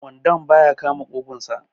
wandon ba ya kama ƙugunsa